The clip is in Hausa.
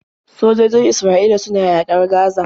Sojojin Isra'ila suna yaƙar Gaza.